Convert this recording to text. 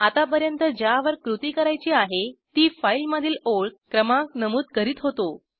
आतापर्यंत ज्यावर कृती करायची आहे ती फाईलमधील ओळ क्रमांक नमूद करीत होतो